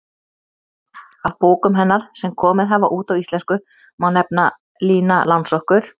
Af bókum hennar sem komið hafa út á íslensku má nefna: Lína Langsokkur